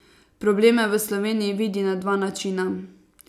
Probleme v Sloveniji vidi na dva načina.